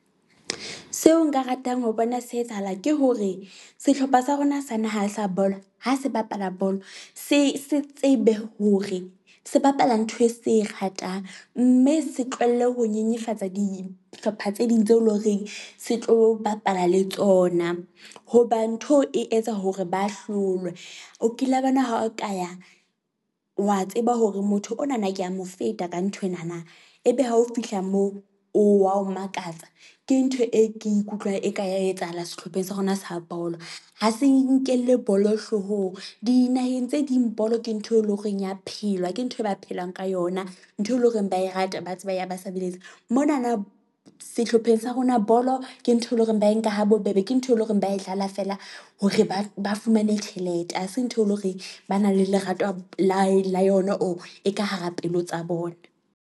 Seo nka ratang ho bona se etsahala ke hore sehlopha sa rona sa naha sa bolo ha se bapala bolo, se se tsebe hore se bapala ntho e se e ratang. Mme se tlohelle ho nyenyefatsa dihlopha tse ding tse leng horeng se tlo bapala le tsona hoba ntho e etsa hore ba hlolwe. O kila bona ha o ka ya wa tseba hore motho ona na ke a mo feta ka nthwena na e be ha o fihla moo o wa o makatsa. Ke ntho e ke ikutlwang e ka ya etsahala sehlopheng sa rona sa bolo. Ha se nkelle bolo hloohong dinaheng tse ding bolo ke ntho e leng horeng ya phelwa. Ke ntho e ba phelang ka yona. Ntho e leng hore ba e rate, ba tseba ya ba sebeletsa mona na sehlopheng sa rona bolo ke ntho e leng hore ba e nka ha bobebe. Ke ntho e leng hore ba e dlala feela hore ba ba fumane tjhelete ha se ntho e leng hore ba na le lerato la la yona, or e ka hara pelo tsa bona.